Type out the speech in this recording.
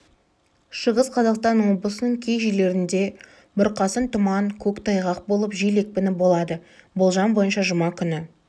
шығыс қазақстан облысының кей жерлерінде бұрқасын тұман көктайғақ болып жел екпіні болады болжам бойынша жұма күні